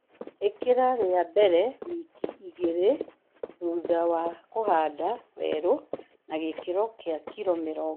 Ĩkĩla ria mbele wiki igĩlĩ thutha wa kũhanda werũ na gĩkĩro kĩa kilo mĩrongo ĩna o harĩ ĩka